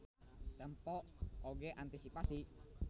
Tempo oge antisipasi.